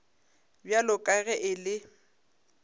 bjalo ka ge e le